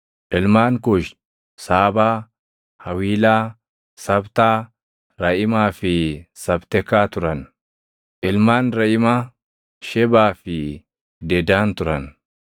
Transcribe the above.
Ilmaan Kuushi: Saabaa, Hawiilaa, Sabtaa, Raʼimaa fi Sabtekaa turan. Ilmaan Raʼimaa: Shebaa fi Dedaan turan.